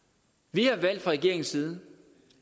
har valgt fra regeringens side